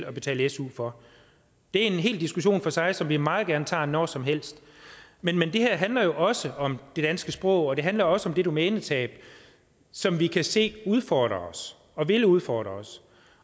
og betale su for det er en hel diskussion for sig som vi meget gerne tager når som helst men det her handler jo også om det danske sprog og det handler også om det domænetab som vi kan se udfordrer os og vil udfordre os